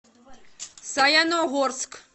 саяногорск